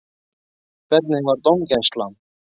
Hvernig var dómgæslan?